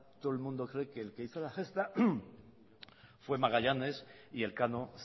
todo el mundo cree que el que hizo la gesta fue magallanes y elcano